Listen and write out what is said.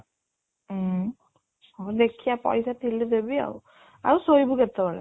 ଉଁ ହଁ ଦେଖିଆ ପଇସା ଥିଲେ ଦେବି ଆଉ ଆଉ ଶୋଇବୁ କେତେ ବେଳେ?